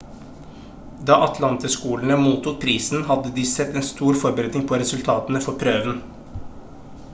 da atlantaskolene mottok prisen hadde de sett en stor forbedring på resultatene for prøven